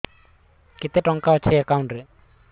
କେତେ ଟଙ୍କା ଅଛି ଏକାଉଣ୍ଟ୍ ରେ